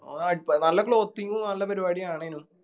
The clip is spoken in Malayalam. ഓർ അടിപ്പൊ നല്ല clothing ഉ നല്ല പരുവാടിയു ആവണേനു.